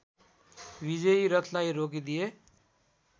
विजयी रथलाई रोकिदिए